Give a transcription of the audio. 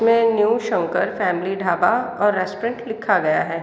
में new Shankar family dhaba और restaurant लिखा गया है।